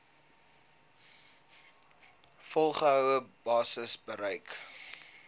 volgehoue basis gebruik